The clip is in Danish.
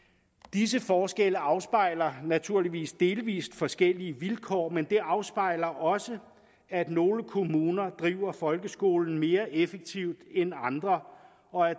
disse forskelle afspejler naturligvis delvist forskellige vilkår men det afspejler også at nogle kommuner driver folkeskolen mere effektivt end andre og at